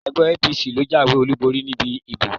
Ẹgbẹ́ APC ló jáwèé olúborí níbi ìbò.